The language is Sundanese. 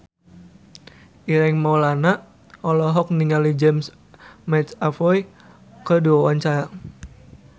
Ireng Maulana olohok ningali James McAvoy keur diwawancara